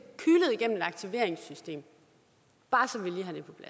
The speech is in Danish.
aktiveringssystem bare